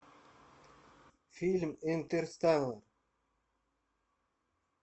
фильм интерстеллар